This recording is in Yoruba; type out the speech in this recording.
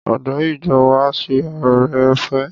Adarí ìjọ wa ṣe ore-ọ̀fẹ́.